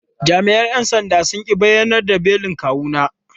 Jami’an ‘yan sandan sun ƙi bayar da belin kawuna.